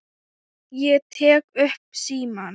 Ég tek upp símann.